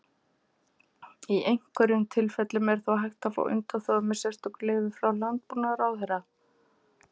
Í einhverjum tilfellum er þó hægt að fá undanþágu með sérstöku leyfi frá Landbúnaðarráðherra.